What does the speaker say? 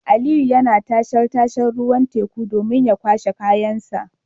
Aliyu yana tashar tashar ruwan teku domin kwashe kayansa